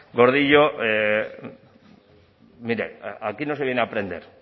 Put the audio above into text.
gordillo mire aquí no se viene a aprender